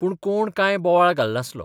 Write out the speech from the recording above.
पूण कोण कांय बोवाळ घालनासलो.